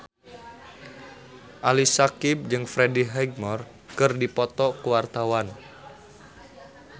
Ali Syakieb jeung Freddie Highmore keur dipoto ku wartawan